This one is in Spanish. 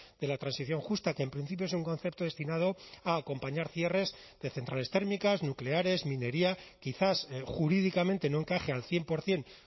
de la transición justa que en principio es un concepto destinado a acompañar cierres de centrales térmicas nucleares minería quizás jurídicamente no encaje al cien por ciento